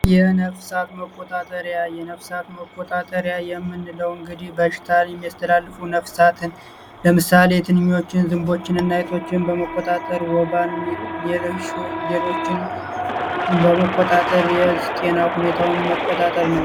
የነፍሳት መቆጣጠሪያ የነፍሳት መቆጣጠርያ የምን ለውን እንግዲህ በሽታል የሚያስተላልፉ ነፍሳትን ለምሳሌ የትንኞችን ዝንቦችን እናይቶችን በመጣጠር ወባን ሌሎ ሌሎችን በመጣጠር የስቄና ሁኔታውን መጣጠር ነው።